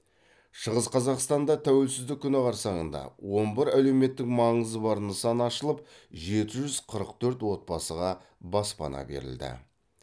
шығыс қазақстанда тәуелсіздік күні қарсаңында он бір әлеуметтік маңызы бар нысан ашылып жеті жүз қырық төрт отбасыға баспана берілді